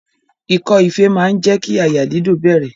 Ikọ́ ife máa jẹ́ kí àyà dídùn bẹ̀rẹ̀.